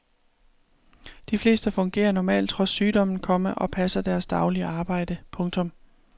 De fleste fungerer normalt trods sygdommen, komma og passer deres daglige arbejde. punktum